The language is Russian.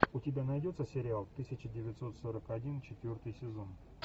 у тебя найдется сериал тысяча девятьсот сорок один четвертый сезон